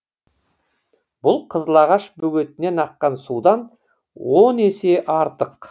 бұл қызыл ағаш бөгетінен аққан судан он есе артық